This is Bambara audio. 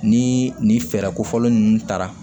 Ni nin fɛɛrɛ kofɔlen ninnu taara